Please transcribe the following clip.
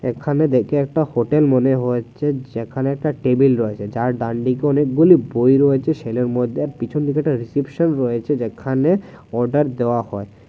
এখানে দেখে একটা হোটেল মনে হচ্ছে যেখানে একটা টেবিল রয়েছে যার ডানদিকে অনেকগুলি বই রয়েছে সেটার মধ্যে পিছনে রিসেপশন রয়েছে যেখানে অর্ডার দেওয়া হয়।